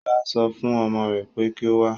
Ṣọlá so fún ọmọ rè pé kí o wá.